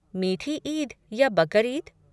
मीठी ईद या बकर ईद?